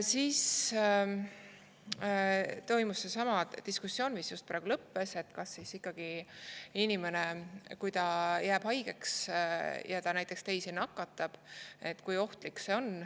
Siis toimus seesama diskussioon, mis just praegu lõppes, et kui ohtlik see ikkagi on, kui inimene jääb haigeks ja ta näiteks nakatab teisi.